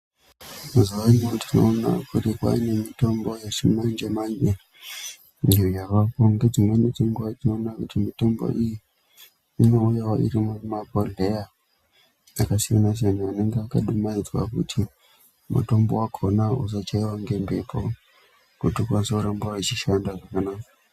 Mazuwaano tinoona kuti kwane mitombo yechimanje manje iyo yavaku ngedzimweni dzenguwa tinoona kuti mitombo iyi inouya iri mumabhodheya akasiyana siyana anenge akadumaidzwa kuti mutombo wakonawo usachaiwa ngemhepo kuti ukwanise kuramba wechishanda zvakanaka.